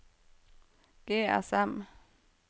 GSM